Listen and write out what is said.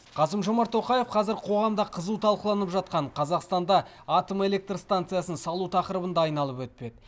қасым жомарт тоқаев қазір қоғамда қызу талқыланып жатқан қазақстанда атом электр станциясын салу тақырыбын да айналып өтпеді